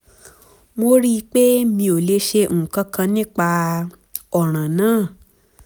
mo rí i pé mi ò lè ṣe nǹkan kan nípa ọ̀ràn náà